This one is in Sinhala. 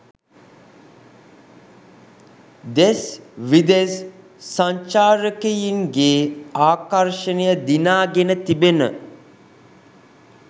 දෙස් විදෙස් සංචාරකයින්ගේ ආකර්ෂණය දිනාගෙන තිබෙන